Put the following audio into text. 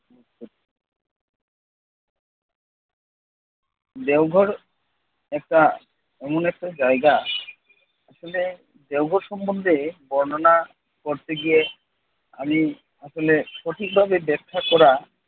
দেওঘর একটা এমন একটা জায়গা আসলে দেওঘর সম্বন্ধে বর্ণনা করতে গিয়ে আমি আসলে সঠিকভাবে ব্যাখ্যা করা